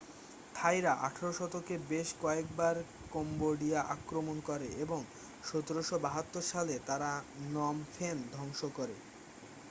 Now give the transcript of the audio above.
থাইরা 18 শতকে বেশ কয়েকবার কম্বোডিয়া আক্রমণ করে এবং 1772 সালে তারা নম ফেন ধ্বংস করে